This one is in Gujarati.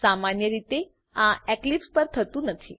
સામાન્ય રીતે આ એક્લીપ્સ પર થતું નથી